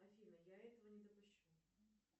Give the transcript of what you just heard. афина я этого не допущу